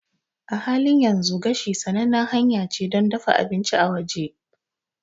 A halin yanzu, gashi sanannen hanya ce don dafa abinci a waje.